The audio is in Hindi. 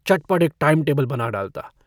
चटपट एक टाइमटेबिल बना डालता।